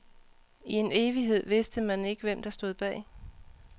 I en evighed vidste man ikke, hvem der stod bag.